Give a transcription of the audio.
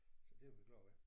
Så det er vi glade ved